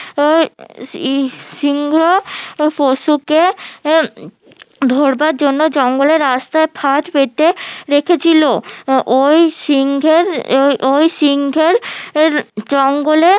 সিংহ পশুকে ধরবার জন্য জঙ্গলে রাস্তায় ফাঁদ পেতে রেখেছিলো ওই সিংহের ওই সিংহের এর জঙ্গলে